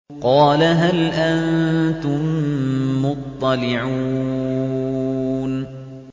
قَالَ هَلْ أَنتُم مُّطَّلِعُونَ